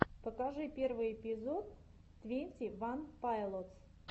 покажи первый эпизод твенти ван пайлотс